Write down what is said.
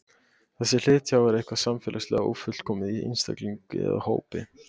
Þessi hlið tjáir eitthvað samfélagslega ófullkomið í einstaklingi eða hópi.